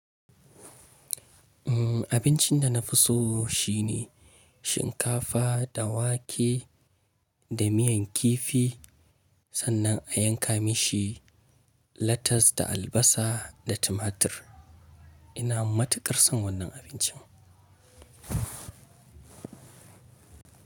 Abincin da na fi so shine shinkafa da wake da miyan kifi sannan a yanka mashi latas da albasa da tumatir. Ina matuƙar son wannan abincin.